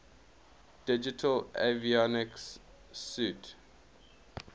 digital avionics suite